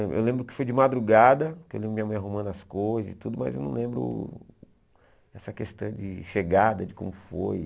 Eu lembro que foi de madrugada, que eu lembro minha mãe arrumando as coisas e tudo, mas eu não lembro essa questão de chegada, de como foi.